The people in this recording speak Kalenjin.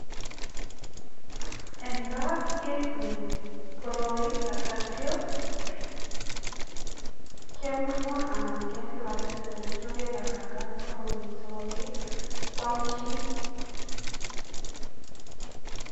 Eng gaa ketilili koroi anityo kemurmur anan ketilatil anityo kekarangan koroi sikopit kwaam chi.